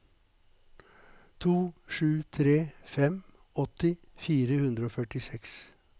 to sju tre fem åtti fire hundre og førtiseks